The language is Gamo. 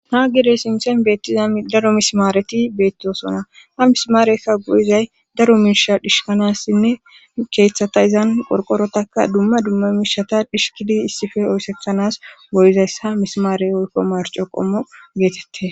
Haa girey sinthen beettizam daro mismaareti beettiosona ha mismaarekka go'izay daro miisha dhishanassinne keeththata izan qorqorotaka dumma dumma miishata dhishkidi issife oyseanas goyizayss ha mismaare hoykko marco qommo geetette.